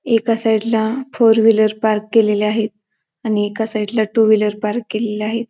एका साईडला four wheeler park केलेल्या आहेत आणि एका साईडला टू व्हीलर पार्क केलेल्या आहेत.